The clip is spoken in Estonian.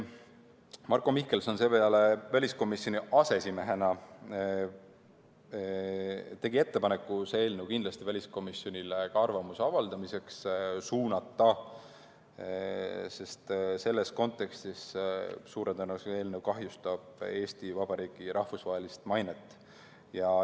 Marko Mihkelson seepeale väliskomisjoni aseesimehena tegi ettepaneku see eelnõu kindlasti ka väliskomisjonile arvamuse avaldamiseks suunata, sest selles kontekstis suure tõenäosusega see eelnõu kahjustab Eesti Vabariigi rahvusvahelist mainet.